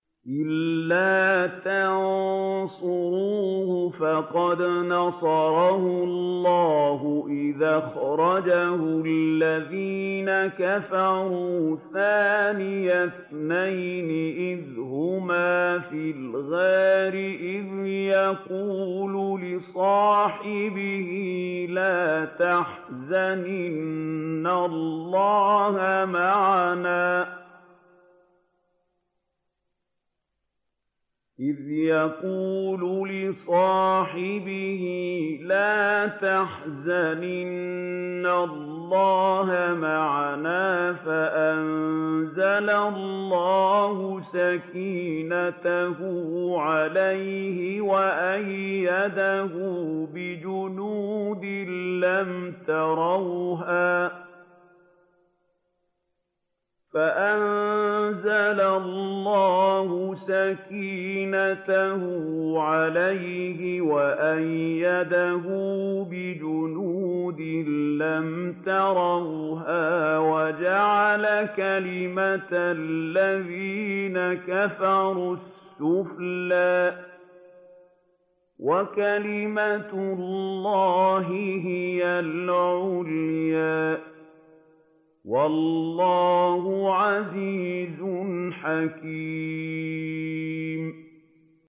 إِلَّا تَنصُرُوهُ فَقَدْ نَصَرَهُ اللَّهُ إِذْ أَخْرَجَهُ الَّذِينَ كَفَرُوا ثَانِيَ اثْنَيْنِ إِذْ هُمَا فِي الْغَارِ إِذْ يَقُولُ لِصَاحِبِهِ لَا تَحْزَنْ إِنَّ اللَّهَ مَعَنَا ۖ فَأَنزَلَ اللَّهُ سَكِينَتَهُ عَلَيْهِ وَأَيَّدَهُ بِجُنُودٍ لَّمْ تَرَوْهَا وَجَعَلَ كَلِمَةَ الَّذِينَ كَفَرُوا السُّفْلَىٰ ۗ وَكَلِمَةُ اللَّهِ هِيَ الْعُلْيَا ۗ وَاللَّهُ عَزِيزٌ حَكِيمٌ